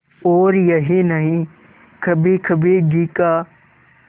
और यही नहीं कभीकभी घी का